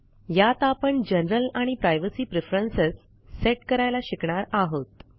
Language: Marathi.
यात आपण जनरल आणि प्रायव्हेसी प्रेफरन्स सेट करायला शिकणार आहोत